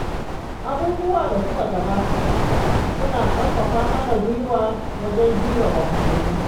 Abubuwan da suka gabata suna ƙarfafa mana gwiwa wajen jure wahalhalu.